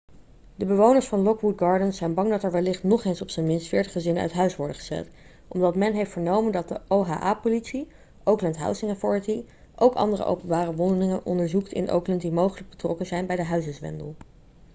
de bewoners van lockwood gardens zijn bang dat er wellicht nog eens op zijn minst 40 gezinnen uit huis worden gezet omdat men heeft vernomen dat de oha-politie oakland housing authority ook andere openbare woningen onderzoekt in oakland die mogelijk betrokken zijn bij de huizenzwendel